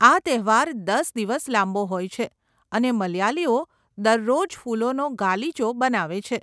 આ તહેવાર દસ દિવસ લાંબો હોય છે અને મલયાલીઓ દરરોજ ફૂલોનો ગાલીચો બનાવે છે.